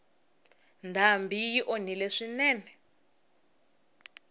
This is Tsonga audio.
ndhambi yi onhile swinene